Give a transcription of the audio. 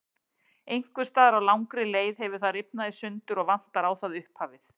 Einhvers staðar á langri leið hefur það rifnað í sundur og vantar á það upphafið.